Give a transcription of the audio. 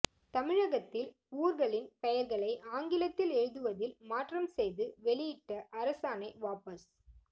தமிழகத்தில் ஊர்களின் பெயர்களை ஆங்கிலத்தில் எழுதுவதில் மாற்றம் செய்து வெளியிட்ட அரசாணை வாபஸ்